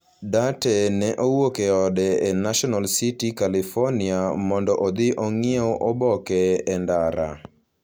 Duarte ne owuok e ode e National City, California, mondo odhi ong'iew oboke e ndara.